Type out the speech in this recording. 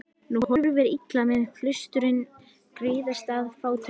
Nú horfir illa með klaustrin griðastað fátækra.